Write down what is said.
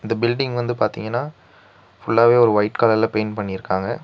இந்த பில்டிங் வந்து பாத்தீங்கனா ஃபுல் லாவே ஒரு ஒயிட் கலர் ல பெயிண்ட் பண்ணிருக்காங்க.